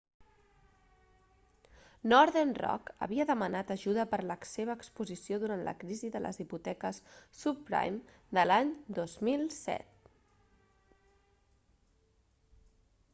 northern rock havia demanat ajuda per la seva exposició durant la crisi de les hipoteques subprime de l'any 2007